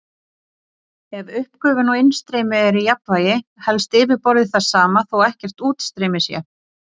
Ef uppgufun og innstreymi eru í jafnvægi helst yfirborðið það sama þó ekkert útstreymi sé.